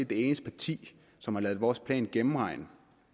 det eneste parti som har ladet vores plan gennemregne